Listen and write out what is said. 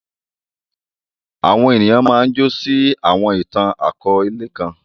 Àwọn ènìyàn máa ǹ jọ̀ sí awọn itan-akọọlẹ kan.